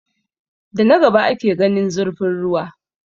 Da na gaba ake gane zurfin ruwa.